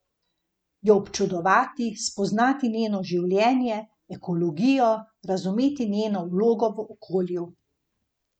Jo občudovati, spoznati njeno življenje, ekologijo, razumeti njeno vlogo v okolju.